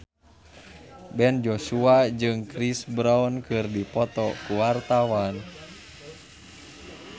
Ben Joshua jeung Chris Brown keur dipoto ku wartawan